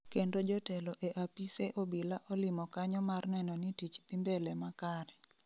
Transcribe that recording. Kendo jotelo e apise obila olimo kanyo mar neno ni tich dhi mbele makare